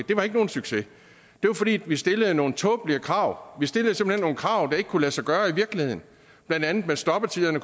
det var ikke nogen succes det var fordi vi stillede nogle tåbelige krav vi stillede simpelt hen nogle krav der ikke kunne lade sig gøre i virkeligheden blandt andet kunne stoppetiderne